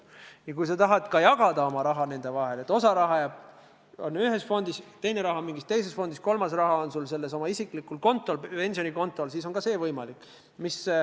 Ja kui sa tahad oma raha nende vahel jagada – nii et üks osa rahast on ühes fondis ja teine osa rahast mingis teises fondis, kolmas osa rahast aga sinu isiklikul kontol, pensionikontol –, siis on ka see võimalik.